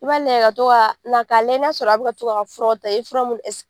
I b'a layɛ ka tɔ ka , na ka layɛ n'a sɔrɔ a bi ka tɔ ka furaw ta i ye fura nunnu